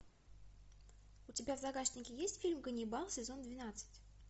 у тебя в загашнике есть фильм ганнибал сезон двенадцать